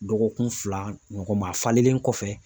Dɔgɔkun fila ɲɔgɔn ma a falenlen kɔfɛ